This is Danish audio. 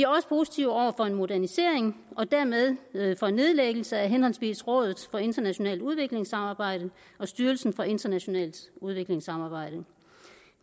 også positive over for en modernisering og dermed for nedlæggelse af henholdsvis rådet for internationalt udviklingssamarbejde og styrelsen for internationalt udviklingssamarbejde